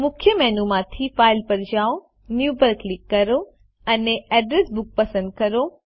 મુખ્ય મેનુ માંથી ફાઇલ પર જાઓ ન્યૂ પર ક્લિક કરો અને એડ્રેસ બુક પસંદ કરો